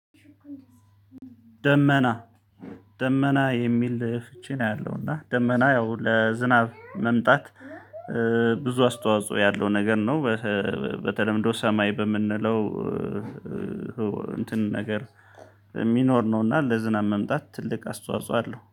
ደመና ደመና የሚል ልህፊችን አያለው እና ደመና ያው ለዝናብ መምጣት ብዙ አስተዋጽኦ ያለው ነገር ነው። በተለምዶ ሰማይ በምንለው እንትን ነገር የሚኖር ነው እና ለዝናብ መምጣት ትልቅ አስተዋጽኦ አለው።